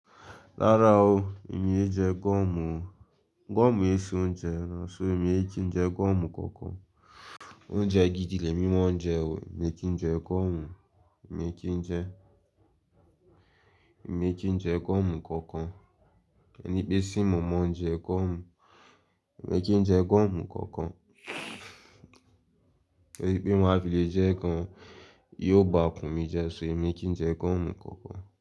Rárá o, èmi ò n jẹ gọ́omù o. Gọ́omù o ṣe oúnjẹ, so èmi e kí n jẹ gọ́omù kankan. Oúnjẹ gidi ni èmi mọ́n jẹ o, mi kìí jẹ gọ́omù. Mi kìí jẹ, èmi kìí jẹ gọ́omù kankan. Ẹni pé se mo mọ̀ọ́, je gọ́mù. Mi kì í jẹ gọ́mù kankan. Pé má filé jẹ gan, yóò bá ikun mi jẹ, ṣo emi kí n jẹ gọ́mù kankan.